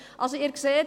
Sie sehen also: